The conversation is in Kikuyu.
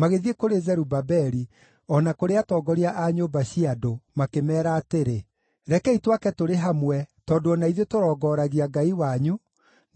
magĩthiĩ kũrĩ Zerubabeli o na kũrĩ atongoria a nyũmba cia andũ, makĩmeera atĩrĩ, “Rekei twake tũrĩ hamwe tondũ o na ithuĩ tũrongoragia Ngai wanyu,